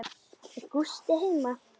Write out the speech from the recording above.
Er Gústi heima?